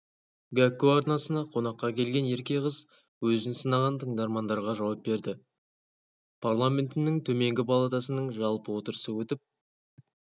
гәкку арнасына қонаққа келген ерке қызөзін сынаған тыңдармандарға жауап берді парламентінің төменгі палатасының жалпы отырысы өтіп